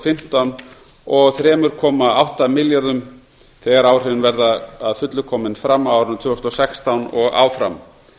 fimmtán og þremur komma átta milljörðum þegar áhrifin verða að fullu komin fram á árinu tvö þúsund og sextán og áfram